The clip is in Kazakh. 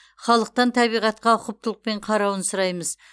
халықтан табиғатқа ұқыптылықпен қарауын сұраймыз